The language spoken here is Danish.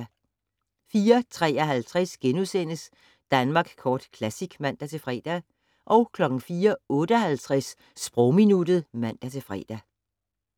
04:53: Danmark Kort Classic *(man-fre) 04:58: Sprogminuttet (man-fre)